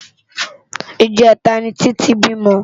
ijètá ni Titi bímò